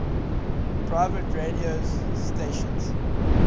pirate radio stations